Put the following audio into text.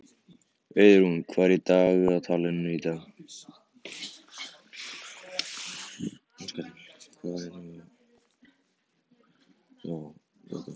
Auðrún, hvað er í dagatalinu í dag?